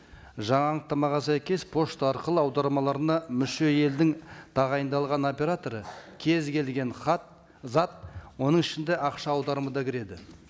жаңа анықтамаға сәйкес пошта арқылы аудармаларына мүше елдің тағайындалған операторы кез келген хат зат оның ішінде ақша аударымы да кіреді